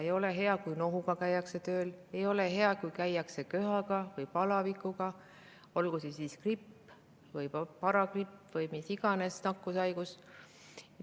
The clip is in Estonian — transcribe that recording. Ei ole hea, kui käiakse tööl nohuga, ei ole hea, kui käiakse tööl köhaga või palavikuga, olgu see gripp või paragripp või mis iganes nakkushaigus.